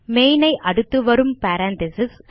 main ஐ அடுத்துவரும் parenthesis